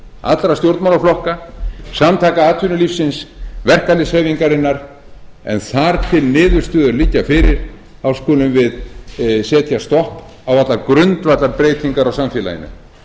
allra stjórnmálaflokka samtaka atvinnulífsins verkalýðshreyfingarinnar en þar til niðurstöður liggja fyrir skulum við setja stopp á allar grundvallarbreytingar á samfélaginu